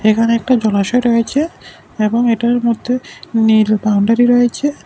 এখানে একটা জলাশয় রয়েছে এবং এটার মধ্যে নীল বাউন্ডারি রয়েছে।